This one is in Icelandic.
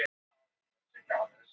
Einhver þarf að vinna vinnuna.